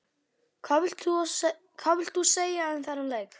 Hvað vilt þú segja um þennan leik?